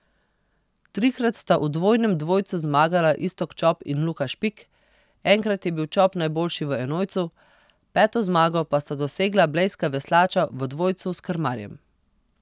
Trikrat sta v dvojnem dvojcu zmagala Iztok Čop in Luka Špik, enkrat je bil Čop najboljši v enojcu, peto zmago pa sta dosegla blejska veslača v dvojcu s krmarjem.